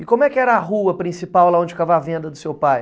E como é que era a rua principal, lá onde ficava a venda do seu pai?